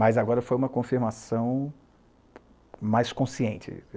Mas agora foi uma confirmação mais consciente.